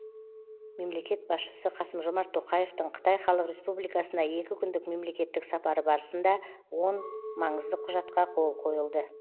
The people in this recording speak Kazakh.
мемлекет басшысы қасым жомарт тоқаевтың қытай халық республикасына екі күндік мемлекеттік сапары барысында он маңызды құжатқа қол қойылды